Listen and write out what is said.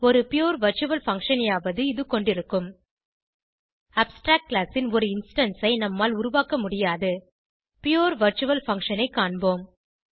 ஒரு pure virtual function ஐயாவது இது கொண்டிருக்கும் அப்ஸ்ட்ராக்ட் கிளாஸ் ன் ஒரு இன்ஸ்டான்ஸ் ஐ நம்மால் உருவாக்க முடியாது புரே வர்ச்சுவல் பங்ஷன் ஐ காண்போம்